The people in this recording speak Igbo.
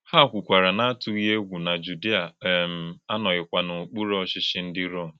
Hà kwùkara n’àtùghị égwù na Jùdìà um ànọ̀ghịkwà n’ókpùrù ọ̀chịchì ndí Rọ́m.